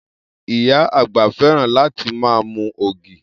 Iya àgbà fẹ́ràn láti ma mu ògì.